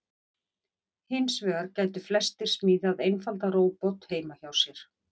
Hins vegar gætu flestir smíðað einfaldan róbot heima hjá sér.